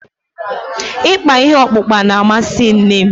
Ịkpa ihe ọkpụkpa na-amasị nne m.